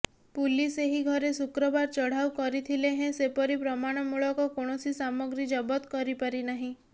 police ଏହି ଘରେ ଶୁକ୍ରବାର ଚଢ଼ାଉ କରିଥିଲେ ହେଁ ସେପରି ପ୍ରମାଣମୂଳକ କୌଣସି ସାମଗ୍ରୀ ଜବତ କରିପାରିନାହିଁ